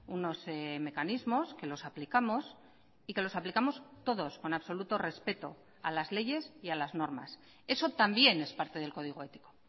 unos mecanismos que los aplicamos y que los aplicamos todos con absoluto respeto a las leyes y a las normas eso también es parte del código ético